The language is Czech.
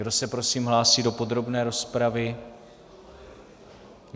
Kdo se prosím hlásí do podrobné rozpravy?